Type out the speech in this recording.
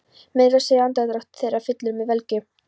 Meira að segja andardráttur þeirra fyllir mig velgju.